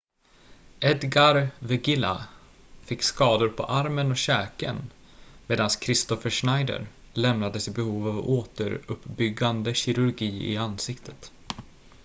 edgar veguilla fick skador på armen och käken medan kristoffer schneider lämnades i behov av återuppbyggande kirurgi i ansiktet